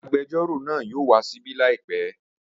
Agbẹjọ́rò náà yóò wá ṣíbí làìpẹ́